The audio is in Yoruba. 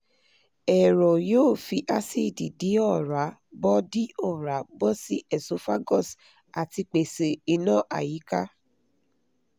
ẹ̀rọ yóò fi àcidì di oòrá bọ́ di oòrá bọ́ sí esophagus àti pèsè ìná àyíká